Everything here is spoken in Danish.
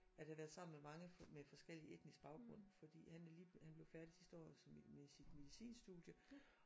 At han er sammen med mange med forskellig etnisk baggrund fordi han er lige blevet han blev færdig sidste år som med sit medicinstudie